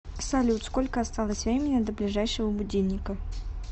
салют сколько осталось времени до ближайшего будильника